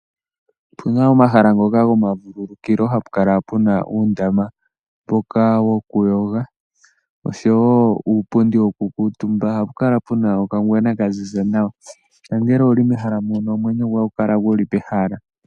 Opu na omahala ngoka gomavululukilo hapu kala pu na uundama mboka wokuyoga noshowo uupundi wokukuutumba. Ohapu kala pu na okangwena ka ziza nawa. Nongele owu li mehala muno omwenyo goye ohagu kala gu li pehala.